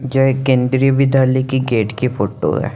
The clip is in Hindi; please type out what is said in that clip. यह एक केन्द्रीय विद्यालय की गेट की फोटो है।